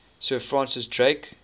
sir francis drake